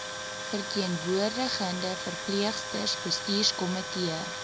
verteenwoordigende verpleegsters bestuurskomitee